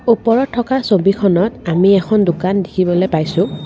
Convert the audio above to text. ওপৰত থকা ছবিখনত আমি এষণ দোকান দেখিবলৈ পাইছোঁ।